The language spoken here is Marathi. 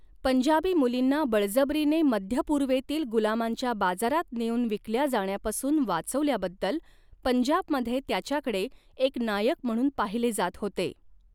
पंजाबी मुलींना बळजबरीने मध्यपूर्वेतील गुलामांच्या बाजारात नेऊन विकल्या जाण्यापासून वाचवल्याबद्दल, पंजाबमध्ये त्याच्याकडे एक नायक म्हणून पाहिले जात होते.